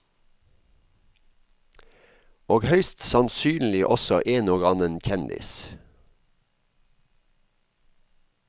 Og høyst sannsynlig også en og annen kjendis.